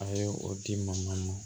A ye o di man nɔgɔ ma